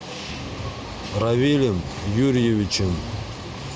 равилем юрьевичем